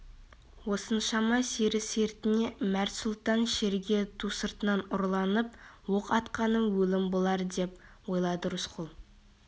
осыншама сері сертіне мәрт сұлтан шеріге ту сыртынан ұрланып оқ атқаным өлім болар деп ойлады рысқұл